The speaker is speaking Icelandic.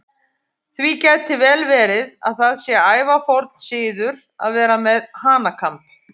Því gæti vel verið að það sé ævaforn siður að vera með hanakamb.